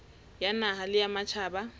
ya naha le ya matjhaba